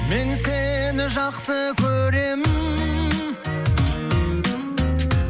мен сені жақсы көремін